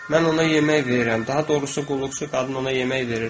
Mən ona yemək verirəm, daha doğrusu qulluqçu qadın ona yemək verir.